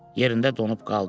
yerində donub qaldı.